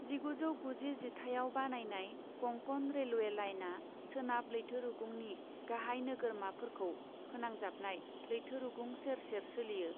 जिगुजौ गुजि जिथाइआव बानायनाय कंकण रेलवे लाइनआ सोनाब लैथोरुगुंनि गाहाय नोगोरमाफोरखौ फोनांजाबनाय लैथोरुगुं सेर सेर सोलियो।